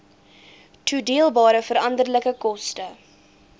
toedeelbare veranderlike koste